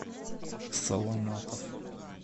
соломатов